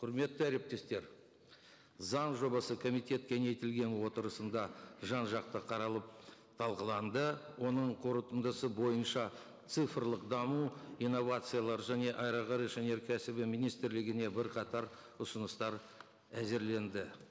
құрметті әріптестер заң жобасы комитет кеңейтілген отырысында жан жақты қаралып талқыланды оның қорытындысы бойынша цифрлық даму инновациялар және аэроғарыш өнеркәсібі министрлігіне бірқатар ұсыныстар әзірленді